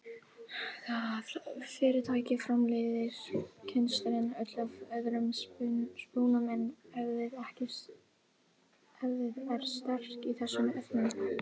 Það fyrirtæki framleiðir kynstrin öll af öðrum spúnum en hefðin er sterk í þessum efnum.